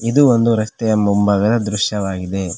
ಇದು ಒಂದು ರಸ್ತೆಯ ಮುಂಭಾಗದ ದೃಶ್ಯವಾಗಿದೆ.